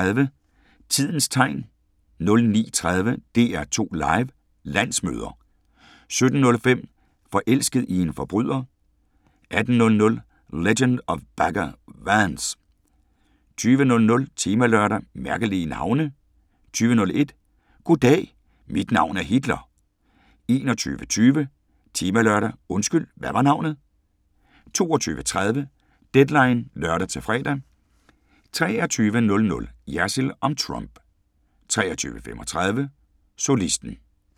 08:35: Tidens Tegn 09:30: DR2 Live: Landsmøder 17:05: Forelsket i en forbryder * 18:00: Legend of Bagger Vance 20:00: Temalørdag: Mærkelige navne 20:01: Goddag, mit navn er Hitler 21:20: Temalørdag: Undskyld, hvad var navnet? 22:30: Deadline (lør-fre) 23:00: Jersild om Trump 23:35: Solisten